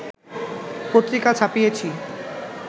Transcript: পত্রিকা ছাপিয়েছি